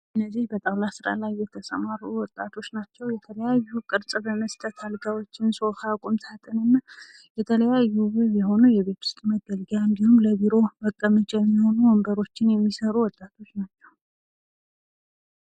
እነዚህ በጣዉላ በስራ ላይ የተሰማሩ ወጣቶች ናቸዉ። የተለያዩ ቅርፅ በመስጠት አልጋዎችን፣ ሶፋ፣ ቁም ሳጥን እና የተለያዩ የሆኑ የቤት ዉስጥ መገልገያ እንዲሁም ለቢሮ መቀመጫ የሚሆኑ ወንበሮችን የሚሰሩ ወጣቶች ናቸዉ።